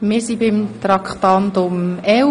Wir fahren fort mit Traktandum 11.